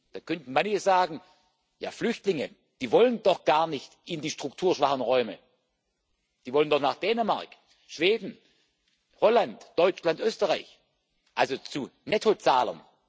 Da könnten manche sagen Ja, Flüchtlinge, die wollen doch gar nicht in die strukturschwachen Räume, die wollen doch nach Dänemark, Schweden, Holland, Deutschland, Österreich also zu Nettozahlern.